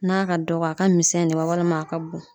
N'a ka dɔgɔ a ka misɛn de wa walima a ka bon